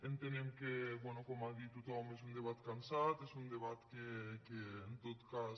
entenem que bé com ha dit tothom és un debat cansat és un debat que en tot cas